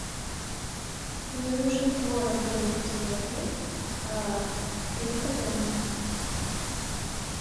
мне нужен творог домик в деревне триста грамм